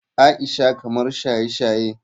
Aisha kamar shaye-shaye.